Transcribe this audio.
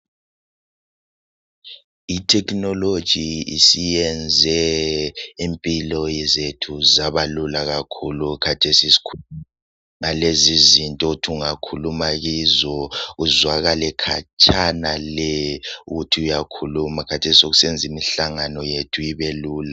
Itechnology isiyenze impilo zethu zabalula kakhulu. Khathesi sikhuluma ngalezi zinto othi ungakhuluma kuzo. Uzwakale khatshana le! Ukuthi uyakhuluma. Khathesi sekusenza imihlangano yethu ibelula.